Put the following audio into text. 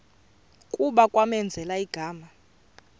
kuba kwamenzela igama